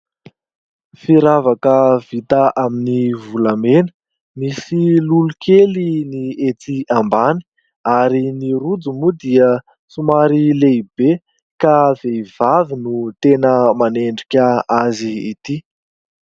Firavaka vita amin'ny volamena. Misy lolo kely ny ety ambany ary ny rojo moa dia somary lehibe ka vehivavy no tena manendrika azy ity.